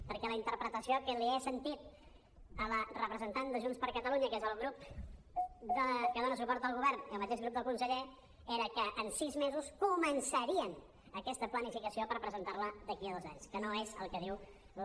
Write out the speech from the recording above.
perquè la interpretació que li he sentit a la representant de junts per catalunya que és el grup que dona suport al govern i el mateix grup del conseller era que en sis mesos començarien aquesta planificació per presentar la d’aquí a dos anys que no és el que diu la